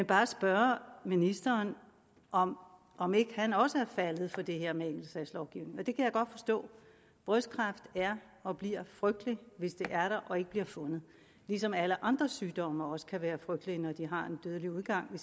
bare spørge ministeren om om ikke han også er faldet for det her med enkeltsagslovgivning og det kan jeg godt forstå brystkræft er og bliver frygteligt hvis det er der og ikke bliver fundet ligesom alle andre sygdomme fundet også kan være frygtelige når de har en dødelig udgang